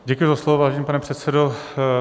Děkuji za slovo, vážený pane předsedo.